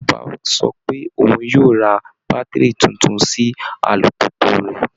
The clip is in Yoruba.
Bàbá sọ pé òun yóò ra bátìrì tuntun sí alùpùpù rẹ̀